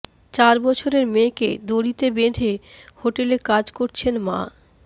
চার বছরের মেয়েকে দড়িতে বেঁধে হোটেলে কাজ করছেন মা